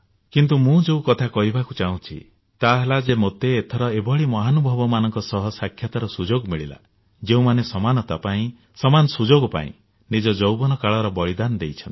କିନ୍ତୁ ମୁଁ ଯେଉଁ କଥା କହିବାକୁ ଚାହୁଁଛି ତାହା ହେଲା ଯେ ମୋତେ ଏଥର ଏଭଳି ମହାନୁଭବମାନଙ୍କ ସହ ସାକ୍ଷାତର ସୁଯୋଗ ମିଳିଲା ଯେଉଁମାନେ ସମାନତା ପାଇଁ ସମାନ ସୁଯୋଗ ପାଇଁ ନିଜ ଯୌବନକାଳର ବଳିଦାନ ଦେଇଛନ୍ତି